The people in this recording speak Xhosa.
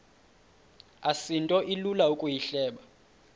asinto ilula ukuyihleba